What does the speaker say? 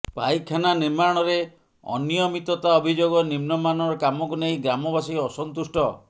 ପାଇଖାନା ନିର୍ମାଣରେ ଅନିୟମିତତା ଅଭିଯୋଗ ନିମ୍ନମାନର କାମକୁ ନେଇ ଗ୍ରାମବାସୀ ଅସନ୍ତୁଷ୍ଟ